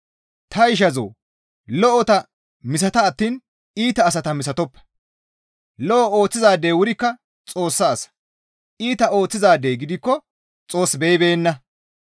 Ta ishazoo! Lo7ota misata attiin iita asata misatoppa; lo7o ooththizaadey wurikka Xoossa asa; iita ooththizaadey gidikko Xoos beyibeenna.